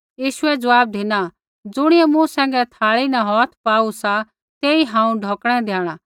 यीशुऐ ज़वाब धिना ज़ुणियै मूँ सैंघै थाल़ी न हौथ पाऊ सा तेई हांऊँ ढौकणै द्याणा